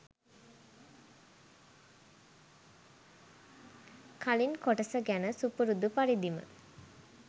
කලින් කොටස ගැන සුපුරුදු පරිදිම